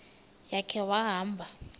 ya khe wahamba